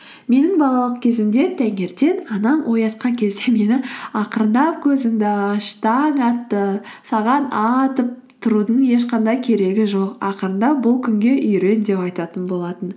менің балалық кезімде таңертең анам оятқан кезде мені ақырындап көзіңді аш таң атты саған атып тұрудың ешқандай керегі жоқ ақырындап бұл күнге үйрен деп айтатын болатын